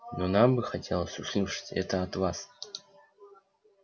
но нам бы хотелось услышать это от вас